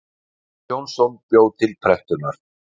Már Jónsson bjó til prentunar.